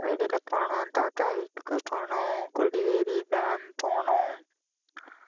வெளியில போனோம், தாத்தா வீட்டுக்கு போனோம் கொடிவேரி dam போனோம்